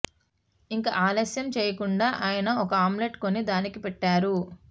ఇక ఆలస్యం చెయ్యకుండా ఆయన ఓ ఆమ్లెట్ కొని దానికి పెట్టారు